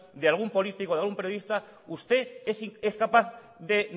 de algún político de algún periodista usted es capaz de